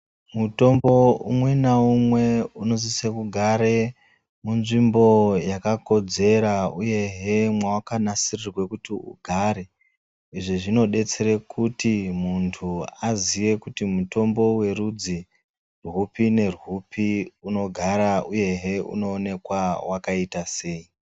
Mutombo umwe naumwe unosise kugare munzvimbo yakakodzera uyehe mwawakanasirirwe kuti ugare. Izvi zvinodetsera kuti muntu aziye kuti mutombo werudzi rwupi nerwupi unogara uyehe unoonekwa wakaita sei.